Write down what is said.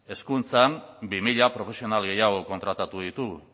hezkuntzan bi mila profesional gehiago kontratatu ditugu